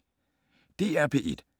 DR P1